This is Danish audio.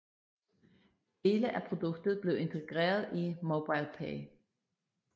Dele af produktet blev integreret i MobilePay